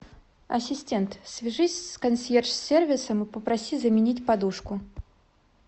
ассистент свяжись с консьерж сервисом и попроси заменить подушку